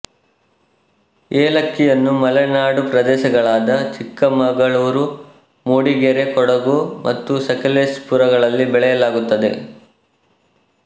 ಏಲಕ್ಕಿಯನ್ನು ಮಲೆನಾಡು ಪ್ರದೇಶಗಳಾದ ಚಿಕ್ಕಮಗಳೂರು ಮೂಡಿಗೆರೆ ಕೊಡಗು ಮತ್ತು ಸಕಲೇಶಪುರಗಳಲ್ಲಿ ಬೆಳೆಯಲಾಗುತ್ತದೆ